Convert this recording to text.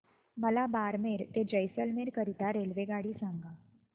मला बारमेर ते जैसलमेर करीता रेल्वेगाडी सांगा